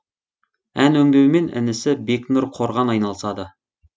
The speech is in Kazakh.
ән өңдеумен інісі бекнұр қорған айналысады